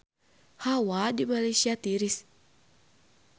Hawa di Malaysia tiris